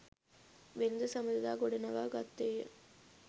වෙළඳ සබඳතා ගොඩනඟා ගත්තේය.